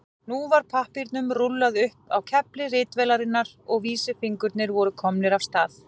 Nú var pappírnum rúllað upp á kefli ritvélarinnar og vísifingurnir voru komnir af stað.